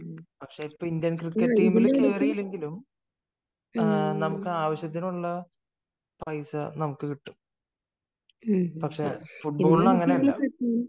പക്ഷെ Indian cricket ടീമിൽ കേറിയില്ലെങ്കിലും നമുക്ക് ആവശ്യത്തിനുള്ള പൈസ നമുക്ക് കിട്ടും പക്ഷെ ഫുടബോളിൽ അങ്ങനെയല്ല